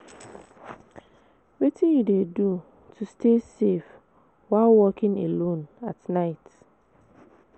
wetin you dey do to stay safe while walking alone at night?